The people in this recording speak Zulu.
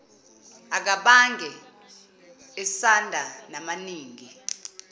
akabange esanda namaningi